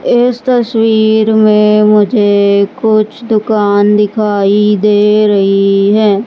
इस तस्वीर में मुझे कुछ दुकान दिखाई दे रही है।